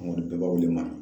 An kɔni bɛɛ b'a wele Mami